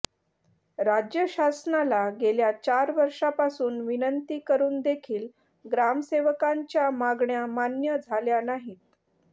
राज्य शासनाला गेल्या चार वर्षांपासून विनंती करून देखील ग्रामसेवकांच्या मागण्या मान्य झाल्या नाहीत